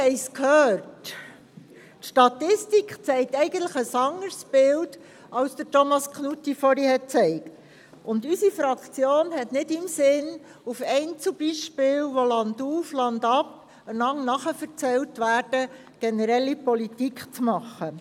Die Statistik zeigt eigentlich ein anderes Bild als es Thomas Knutti aufgezeigt hat, und unsere Fraktion hat nicht im Sinn, aufgrund einzelner Beispiele, die landauf, landab weitererzählt werden, generelle Politik zu machen.